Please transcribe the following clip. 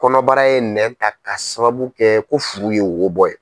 Kɔnɔbara ye nɛn ta k'a sababu kɛ ko furu ye wo bɔ ye.